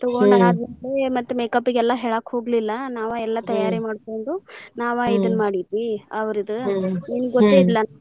ತಗೊಂಡವಿ ಮತ್ತ್ makeup ಗೆ ಎಲ್ಲಾ ಹೇಳಾಕ್ ಹೋಗ್ಲಿಲ್ಲಾ ನಾವ ಎಲ್ಲಾ ತಯಾರಿ ಮಾಡ್ಕೊಂಡು ನಾವ ಇದ್ನ ಮಾಡಿದ್ವಿ ಅವರ್ದ ನಿಮ್ಗ ಗೊತ್ತ ಐತ್ಲಾ ನಾವ ಮಾಡ್ತೇವ ಅಂತ ಹೇಳಿ.